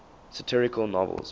satirical novels